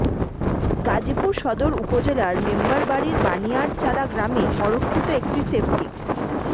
গাজীপুর সদর উপজেলার মেম্বারবাড়ীর বানিয়ারচালা গ্রামে অরক্ষিত একটি সেফটিক